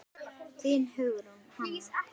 Þín, Hugrún Hanna.